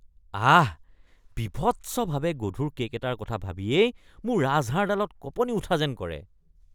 আহ, বীভৎসভাৱে গধুৰ কে'ক এটাৰ কথা ভাবিয়েই মোৰ ৰাজহাড়ডালত কঁপনি উঠা যেন কৰে।